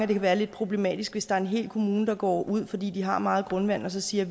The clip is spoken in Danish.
det kan være lidt problematisk hvis der er en hel kommune der går ud fordi de har meget grundvand og siger